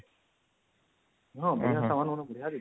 ହଁ ବଢିଆ ସାମାନ ବଢିଆ ଦେଇଛି